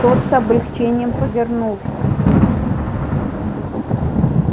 тот с облегчением повернулся